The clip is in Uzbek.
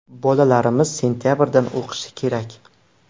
Bolalarimiz sentabrdan o‘qishi kerak.